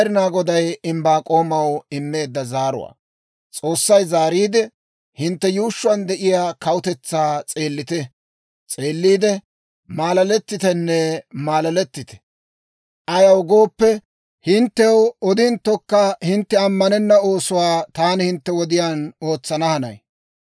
S'oossay zaariide, «Hintte yuushshuwaan de'iyaa kawutetsaa s'eelliide maalaalettite! Ayaw gooppe, hinttew odinttokka hintte ammanenna oosuwaa taani hintte wodiyaan ootsana hanay.